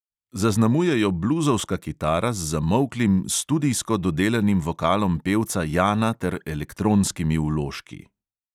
Zaznamuje jo bluzovska kitara z zamolklim, studijsko dodelanim vokalom pevca jana ter elektronskimi vložki.